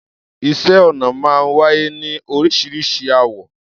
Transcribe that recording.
Iṣẹ́ ọnà máa ń wáyé ní orísiríṣi àwọ̀.